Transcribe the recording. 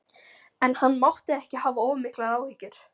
En hann mátti ekki hafa of miklar áhyggjur.